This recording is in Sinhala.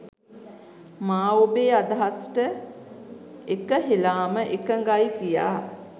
මා ඔබේ අදහසට එකහෙලාම එකඟයි කියා.